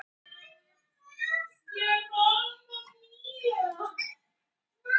Ekki beint gáfulegt hjá honum!